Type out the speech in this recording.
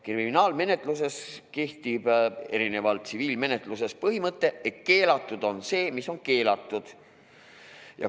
Kriminaalmenetluses kehtib erinevalt tsiviilmenetlusest põhimõte, et keelatud on see, mis on keelatud.